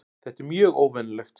Þetta er mjög óvenjulegt